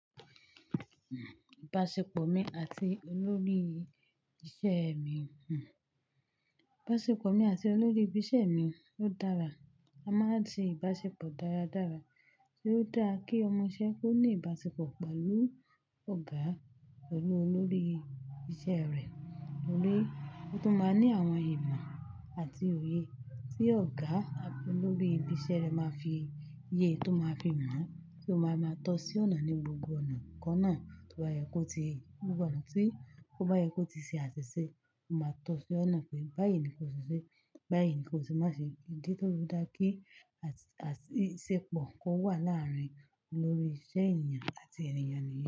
Ìbáṣepọ̀ mi àti olórí ìṣe mi hùn. Ìbáṣepọ̀ mi àti olórí ibi iṣẹ́ mi ló dára. A máa ń ṣe ìbáṣepọ̀ dáradára tí ó dáa kí ọmọ iṣẹ́ kó ní ìbáṣepọ̀ pẹ̀lú ọ̀gá rẹ lórí iṣẹ́ rẹ̀. Tórí, ó tún máa ní àwọn ìmọ̀ àti òye tí ọ̀gá olórí ibi iṣẹ́ rẹ máa fi yé e tó máa fi mọ̀ ẹ́ tí ó máa ma tọ́ sí ọ̀nà ní gbogbo ọ̀nà. Ǹkan náà tó bá yẹ kó ti gbogbo ọ̀nà tí ó bá yẹ kó ti ṣe àṣìṣe, ó máa tọ́ sí ọ̀nà pé báyìí ni kó ṣe ṣe, báyìí ni kó tí má ṣe kí nítorí ó dáa kí ìbáṣepọ̀ kó wà láàrin olórí iṣẹ́ ènìyàn àti ènìyàn níyẹn.